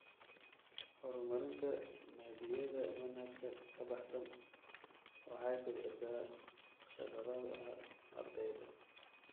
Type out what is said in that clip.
Horumarinta naadiyada manhajka ka baxsan waxay kobcisaa khibradaha ardayda.